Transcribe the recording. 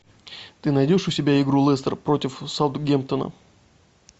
ты найдешь у себя игру лестер против саутгемптона